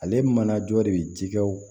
Ale mana jɔ de bi jikɛw